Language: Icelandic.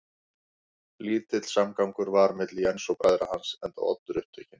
Lítill samgangur var milli Jens og bræðra hans, enda Oddur upptekinn